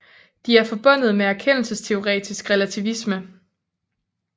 De er forbundet med erkendelsesteoretisk relativisme